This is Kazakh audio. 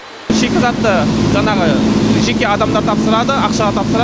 шикізатты жанағы жеке адамдар тапсырады ақшаға тапсырады